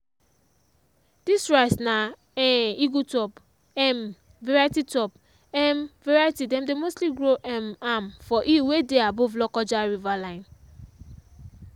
this rice na um eagle top um variety top um variety dem dey mostly grow um am for hill wey dey above lokoja river line.